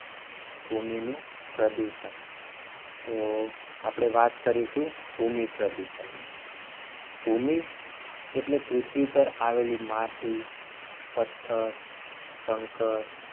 ભૂમિનું પ્રદૂષણ તો આપણે વાત કરીશું ભૂમિ પ્રદૂષણ ની ભૂમિ એટલે પૃથ્વી પર આવેલી માટી પથ્થર કંકર